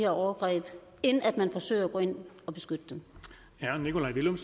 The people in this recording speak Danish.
overgreb end at man forsøger at gå ind at beskytte